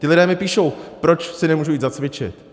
Ti lidé mi píšou: proč si nemůžu jít zacvičit?